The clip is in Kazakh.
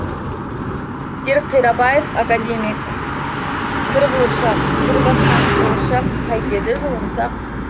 серік қирабаев академиккір қуыршақ кір басқан қуыршақ қайтеді жуынсақ